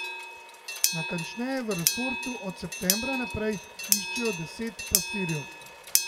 Natančneje, v resortu od septembra naprej iščejo deset pastirjev.